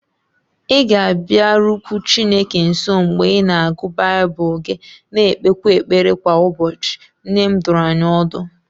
Ị ga-abịarukwu Chineke nso mgbe ị na-agụ Baịbụl gị na-ekpekwa ekpere kwa ụbọchị, nne m dụrụ anyị ọdụ